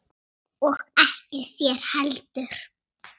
Og ekki þér heldur!